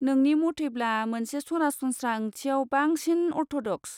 नोंनि मथैब्ला मोनसे सरासनस्रा ओंथिआव बांसिन अर्थ'डक्स?